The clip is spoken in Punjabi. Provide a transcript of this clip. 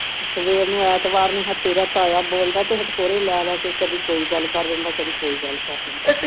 ਸਵੇਰ ਨੂੰ ਐਤਵਾਰ ਨੂੰ ਤੇਰਾ ਤਾਇਆ ਬੋਲਦਾ ਤੇ ਹਿਚਕੋਲੇ ਲਾ ਲਾ ਕੇ ਕਦੀ ਕੋਈ ਗੱਲ ਕਰ ਦਿੰਦਾ ਤੇ ਕਦੀ ਕੋਈ ਗੱਲ ਖਤਮ